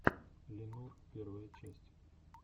ли нур первая часть